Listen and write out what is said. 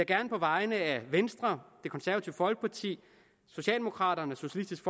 gerne på vegne af venstre socialdemokraterne socialistisk